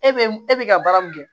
E be e be ka baara min kɛ